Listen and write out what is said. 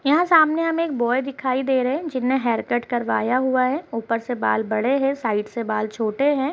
यहाँं सामने हमें एक बॉय दिखाई दे रहे हैं। जिसने हेयर कट करवाया हुआ है ऊपर से बाल बड़े हैं बाजु में बाल छोटे हैं।